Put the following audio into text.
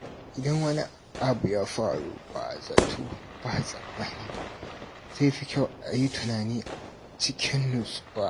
Idan wani abu ya faru ba zato ba tsammani, zai fi kyau ayi tunani cikin nutsuwa.